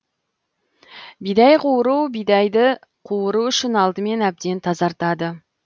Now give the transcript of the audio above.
бидай қуыру бидайды қуыру үшін алдымен әбден тазартады